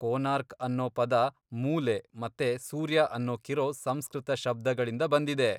ಕೋನಾರ್ಕ್' ಅನ್ನೋ ಪದ ಮೂಲೆ ಮತ್ತೆ ಸೂರ್ಯ ಅನ್ನೋಕಿರೋ ಸಂಸ್ಕೃತ ಶಬ್ದಗಳಿಂದ ಬಂದಿದೆ.